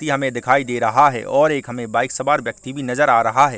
व्यक्ति हमें दिखाई दे रहा है और एक हमें बाइक सवार व्यक्ति भी नज़र आ रहा है।